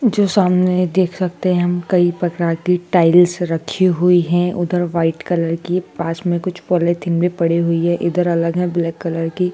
जो सामने देख सकते हैं हम कई प्रकार की टाइल्स रखी हुई हैं उधर व्हाइट कलर की पास में कुछ पॉलिथीन भी पड़ी हुई है इधर अलग हैं ब्लैक कलर की।